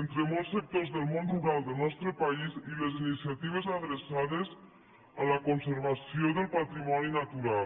entre molts sectors del món rural del nostre país i les iniciatives adreçades a la conservació del patrimoni natural